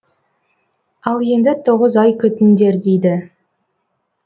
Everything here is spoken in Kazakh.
ал енді тоғыз ай күтіңдер дейді